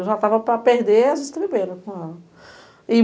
Eu já estava para perder as estrebeiras com ela. E